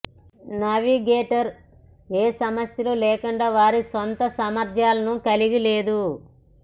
navigator ఏ సమస్యలు లేకుండా వారి స్వంత సామర్ధ్యాలను కలిగి లేదు